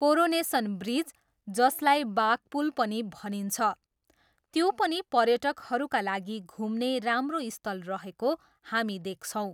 Coronation bridge, जसलाई बाघपुल पनि भनिन्छ, त्यो पनि पर्यटकहरूका लागि घुम्ने राम्रो स्थल रहेको हामी देख्छौँ।